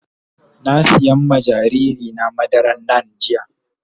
Na sim iya ma jariri na madaran NAN jiya.